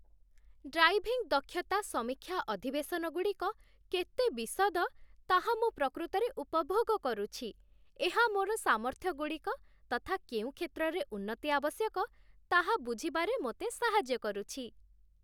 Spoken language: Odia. ଡ୍ରାଇଭିଂ ଦକ୍ଷତା ସମୀକ୍ଷା ଅଧିବେଶନଗୁଡ଼ିକ କେତେ ବିଶଦ, ତାହା ମୁଁ ପ୍ରକୃତରେ ଉପଭୋଗ କରୁଛି, ଏହା ମୋର ସାମର୍ଥ୍ୟଗୁଡ଼ିକ ତଥା କେଉଁ କ୍ଷେତ୍ରରେ ଉନ୍ନତି ଆବଶ୍ୟକ, ତାହା ବୁଝିବାରେ ମୋତେ ସାହାଯ୍ୟ କରୁଛି।